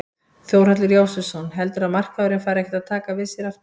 Þórhallur Jósefsson: Heldurðu að markaðurinn fari ekkert að taka við sér aftur?